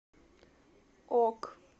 ок